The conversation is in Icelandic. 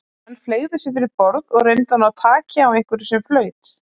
Menn fleygðu sér fyrir borð og reyndu að ná taki á einhverju sem flaut.